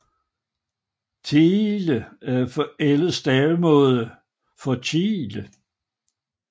Thiele er en forældet stavemåde for Tjele